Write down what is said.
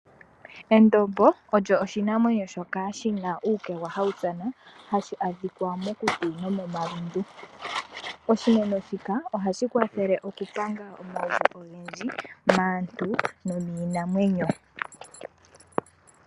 Endombo olyo oshimeno shoka shina uukegwa hawu tsana hashi adhika mokuti nomomalundu. Ohashi kwathele okupanga omauvu ogendji maantu nomiinamwenyo.